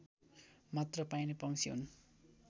मात्र पाइने पंक्षी हो